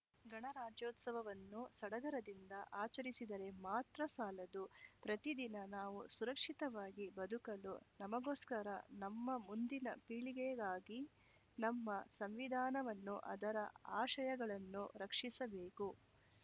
ಗಣರಾಜ್ಯೋತ್ಸವವನ್ನು ಸಡಗರದಿಂದ ಆಚರಿಸಿದರೆ ಮಾತ್ರ ಸಾಲದು ಪ್ರತಿದಿನ ನಾವು ಸುರಕ್ಷಿತವಾಗಿ ಬದುಕಲು ನಮಗೋಸ್ಕರ ನಮ್ಮ ಮುಂದಿನ ಪೀಳಿಗೆಗಾಗಿ ನಮ್ಮ ಸಂವಿಧಾನವನ್ನು ಅದರ ಆಶಯಗಳನ್ನು ರಕ್ಷಿಸಬೇಕು